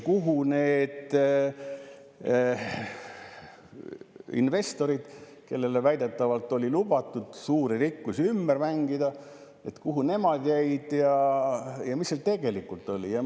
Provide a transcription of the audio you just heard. Kuhu jäid need investorid, kellele väidetavalt oli lubatud suurte rikkuste ümbermängimist, ja mis seal tegelikult oli?